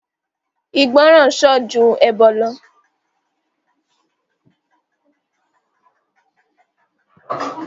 igboran ó sàn ju ẹbọ lọ